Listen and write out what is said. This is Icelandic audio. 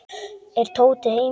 Er Tóti heima?